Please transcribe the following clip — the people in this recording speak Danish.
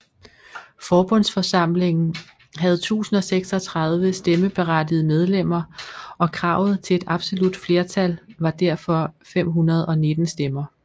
Forbundsforsamlingen havde 1036 stemmeberettigede medlemmer og kravet til et absolut flertal var derfor 519 stemmer